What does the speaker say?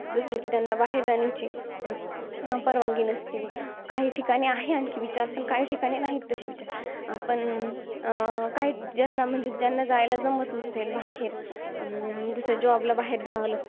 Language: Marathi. जसं कि त्यांना बाहेर जाण्याची, अं परवानगी नसते. काही ठिकाणी आहे आणखी विचार, पण काही ठिकाणी नाहीये तशी विचार. पण अं काही, ज्यांना जायला जमत नसेल, बाहेर. अं जसं job ला बाहेर जावं लागतं.